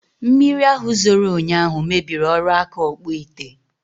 Mmiri ahụ zoro ụnyaahụ mebiri ọrụ aka Ọkpụịte